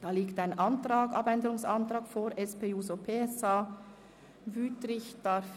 Hier liegt ein Abänderungsantrag der SP-JUSOPSA-Fraktion vor.